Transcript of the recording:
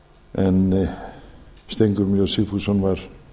en steingrímur j sigfússon var